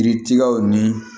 Kiritigɛw ni